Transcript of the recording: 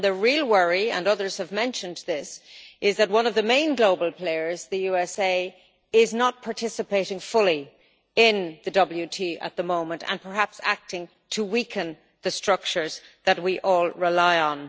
The real worry and others have mentioned this is that one of the main global players, the USA, is not participating fully in the WTO at the moment and is perhaps acting to weaken the structures that we all rely on.